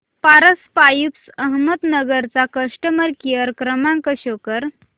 Paras Pipes Ahmednagar चा customer care क्रमांक show करा